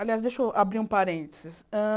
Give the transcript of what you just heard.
Aliás, deixa eu abrir um parênteses. Hã